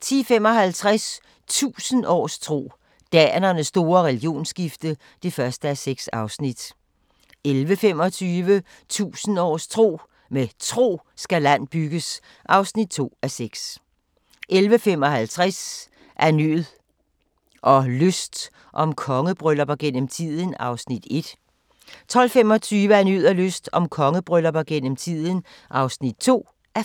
10:55: 1000 års tro: Danernes store religionsskifte (1:6) 11:25: 1000 års tro: Med tro skal land bygges (2:6) 11:55: Af nød og lyst – om kongebryllupper gennem tiden (1:5) 12:25: Af nød og lyst – om kongebryllupper gennem tiden (2:5)